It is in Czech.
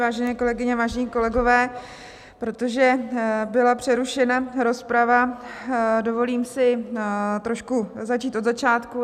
Vážené kolegyně, vážení kolegové, protože byla přerušena rozprava, dovolím si trošku začít od začátku.